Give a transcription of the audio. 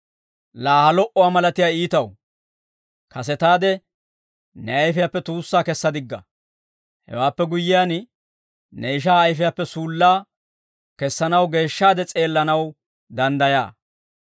Laa ha lo"uwaa malatiyaa iitaw! Kasetaade ne ayfiyaappe tuussaa kessa digga; hewaappe guyyiyaan, ne ishaa ayfiyaappe suullaa kessanaw geeshshaade s'eellanaw danddayaa.